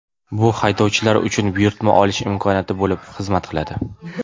Bu haydovchilar uchun buyurtma olish imkoniyati bo‘lib xizmat qiladi.